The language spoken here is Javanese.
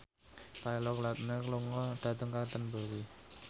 Taylor Lautner lunga dhateng Canterbury